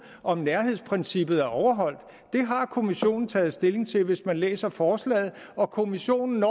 om nærhedsprincippet er overholdt det har kommissionen taget stilling til hvis man læser forslaget og kommissionen